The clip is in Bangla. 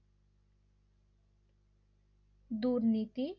দুর্নীতি